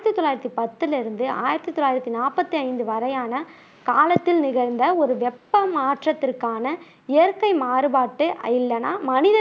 ஆயிரத்தி தொள்ளாயிரத்தி பத்துல இருந்து ஆயிரத்தி தொள்ளாயிரத்தி நாப்பத்தி ஐந்து வரையான காலத்தில் நிகழ்ந்த ஒரு வெப்ப மாற்றத்திற்கான இயற்கை மாறுபாட்டை இல்லன்னா மட்னித